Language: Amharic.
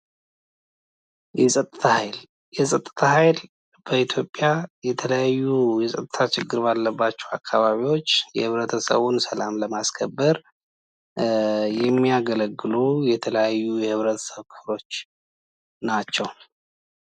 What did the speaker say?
የፀጥታ ኃይል በኢትዮጵያ የተለያዩ የፀጥታ ችግር ባለባቸው አካባቢዎች የብረተሰቡን ሰላም ለማስከበር የሚያገለግሉ የተለያዩ የህብረተሰቦች ክፍሎች ናቸው።